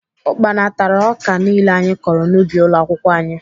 Ukpana tara ọka niile anyị kọrọ n'ubi ụlọakwụkwọ anyị